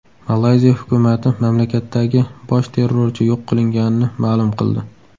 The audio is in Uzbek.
Malayziya hukumati mamlakatdagi bosh terrorchi yo‘q qilinganini ma’lum qildi.